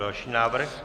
Další návrh.